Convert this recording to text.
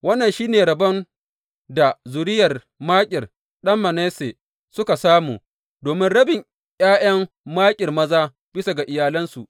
Wannan shi ne rabon da zuriyar Makir ɗan Manasse suka samu, domin rabin ’ya’yan Makir maza, bisa ga iyalansu.